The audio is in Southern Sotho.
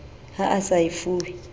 ha a sa e fuwe